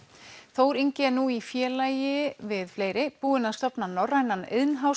Þór Ingi er nú í félagi við fleiri búinn að stofna norrænan